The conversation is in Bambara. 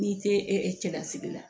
N'i tɛ cɛlasigi la